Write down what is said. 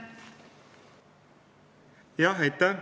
Aitäh!